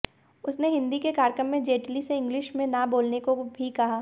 उसने हिंदी के कार्यक्रम में जेटली से इंग्लिश में ना बोलने को भी कहा